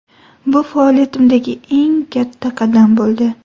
Bu faoliyatimdagi eng katta qadam bo‘ldi.